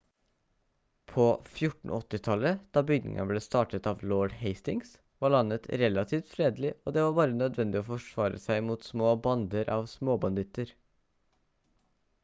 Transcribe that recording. på 1480-tallet da byggingen ble startet av lord hastings var landet relativt fredelig og det var bare nødvendig å forsvare seg mot små bander av småbanditter